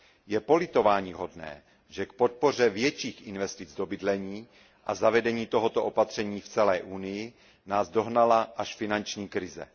Je politováníhodné, že k podpoře větších investic do bydlení a zavedení tohoto opatření v celé Unii nás dohnala až finanční krize.